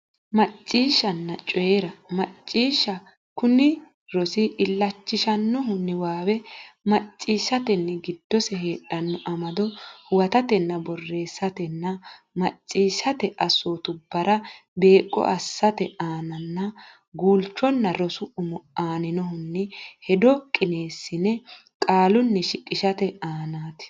Macciishshanna coyi ra Macciishsha Kuni rosi illachishannohu niwaawe macciishshatenni giddose heedhanno amado huwatatenna borreessatenna macciishshate assootubbara beeqqo assate aananna guulchonna rosu umo annohunni hedo qineesse qaalunni shiqishate aanaati.